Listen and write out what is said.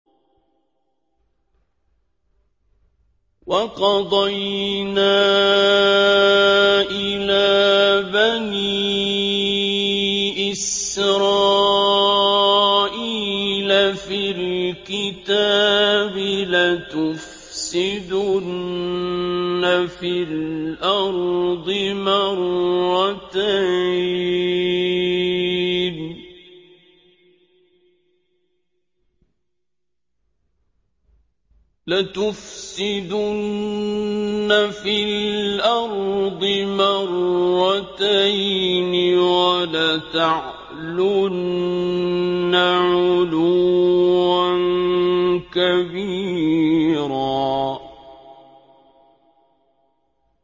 وَقَضَيْنَا إِلَىٰ بَنِي إِسْرَائِيلَ فِي الْكِتَابِ لَتُفْسِدُنَّ فِي الْأَرْضِ مَرَّتَيْنِ وَلَتَعْلُنَّ عُلُوًّا كَبِيرًا